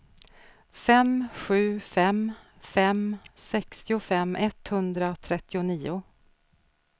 fem sju fem fem sextiofem etthundratrettionio